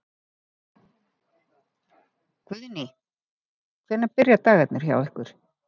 Guðný: Hvenær byrja dagarnir hjá ykkur?